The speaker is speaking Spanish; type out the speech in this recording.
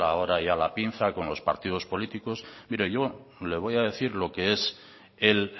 ahora ya la pinza con los partidos políticos mire yo le voy a decir lo que es el